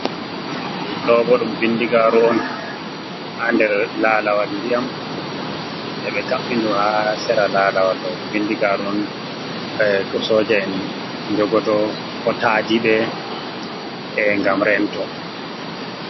Ɗo bo ɗum bindigaru on ha nder lalawal ndiyam ɓe ɓe kabɓi ndu ha sera lalawal mai bindigaru on ko soja en jogoto kotadi ɓe gam rento.